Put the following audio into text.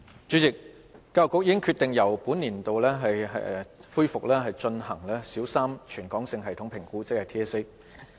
主席，教育局已決定由本年起恢復進行小三全港性系統評估。